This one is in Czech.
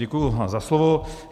Děkuji za slovo.